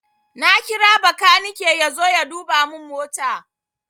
Na kira bakanike yazo ya duba mun mota